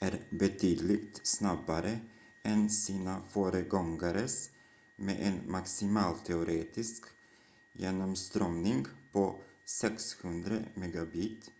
är betydligt snabbare än sina föregångares med en maximal teoretisk genomströmning på 600 mbit/s